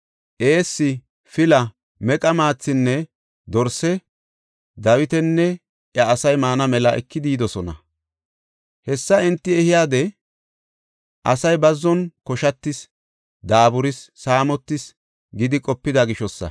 eessi, pila, meqa maathinne dorse Dawitinne iya asay maana mela ekidi yidosona. Hessa enti ehiday, “Asay bazzon koshatis, daaburis, saamotis” gidi qopida gishosa.